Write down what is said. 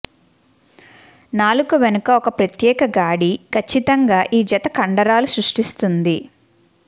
నాలుక వెనుక ఒక ప్రత్యేక గాడి ఖచ్చితంగా ఈ జత కండరాలు సృష్టిస్తుంది